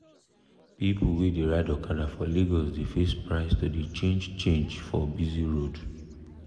people wey dey ride okada for lagos dey face price to dey change change for busy road.